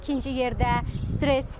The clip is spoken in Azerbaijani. İkinci yerdə stress.